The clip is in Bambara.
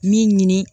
Min ɲini